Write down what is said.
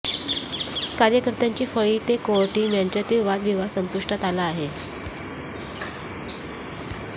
कार्यकर्त्यांची फळी ते कोअर टीम यांच्यातील वादविवाद संपुष्टात आला आहे